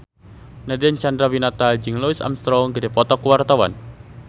Nadine Chandrawinata jeung Louis Armstrong keur dipoto ku wartawan